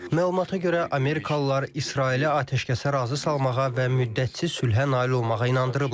Məlumatlara görə amerikalılar İsraili atəşkəsə razı salmağa və müddətsiz sülhə nail olmağa inandırıblar.